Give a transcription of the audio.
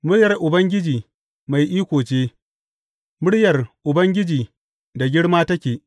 Muryar Ubangiji mai iko ce; muryar Ubangiji da girma take.